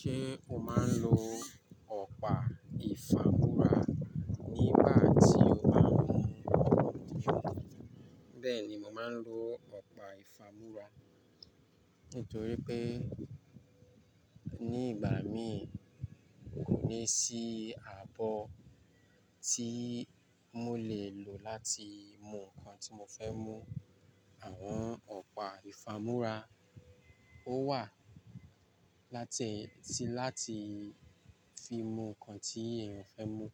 Ṣé o máa ń lo ọ̀pá ìfàmúrà nígbà tí o máa ń mu ògùn? Bẹ́ẹ̀ ni, mo máa ń lo ọ̀pá ìfàmúrà nítorí pé ní ìgbà mí kò ní sí àbọ́ tí mo lè lò láti mú nǹkan tí mo fẹ́ mú. Àwọn ọ̀pá ìfàmúrà ó wà láti fi mú nǹkan tí èèyàn fẹ́ mú.